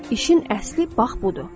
İşin əsli bax budur.